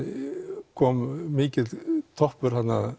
kom mikill toppur þarna